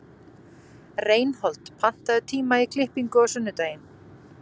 Reinhold, pantaðu tíma í klippingu á sunnudaginn.